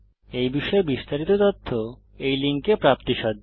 এই বিষয়ে বিস্তারিত তথ্য এই লিঙ্কে প্রাপ্তিসাধ্য